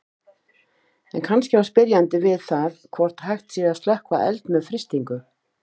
En kannski á spyrjandi við það hvort hægt sé að slökkva eld með frystingu.